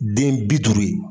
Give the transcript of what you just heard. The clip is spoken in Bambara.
Den bi duuru ye.